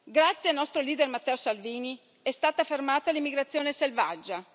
Grazie al nostro leader Matteo Salvini è stata fermata l'immigrazione selvaggia.